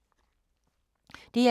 DR2